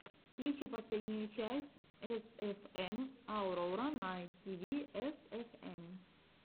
включи последнюю часть эсэфэм аурора найт тиви эсэфэм